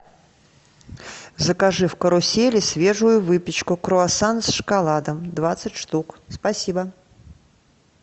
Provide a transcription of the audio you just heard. закажи в карусели свежую выпечку круассан с шоколадом двадцать штук спасибо